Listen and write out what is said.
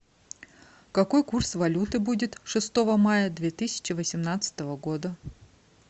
какой курс валюты будет шестого мая две тысячи восемнадцатого года